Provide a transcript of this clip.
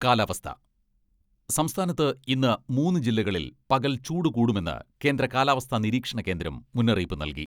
കാലാവസ്ഥ സംസ്ഥാനത്ത് ഇന്ന് മൂന്ന് ജില്ലകളിൽ പകൽ ചൂട് കൂടുമെന്ന് കേന്ദ്ര കാലാവസ്ഥ നിരീക്ഷണ കേന്ദ്രം മുന്നറിയിപ്പ് നൽകി.